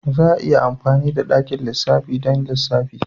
Za a iya amfani da dakin lissafi don lissafi.